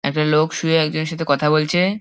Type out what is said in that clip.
একটা লোক শুয়ে একজনের সাথে কথা বলছে--